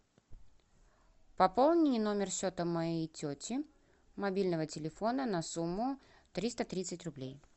пополни номер счета моей тети мобильного телефона на сумму триста тридцать рублей